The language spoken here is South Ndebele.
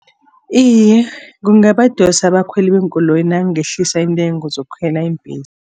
Iye, kungabadosa abakhweli beenkoloyi nangehlisa iintengo zokukhwela iimbhesi.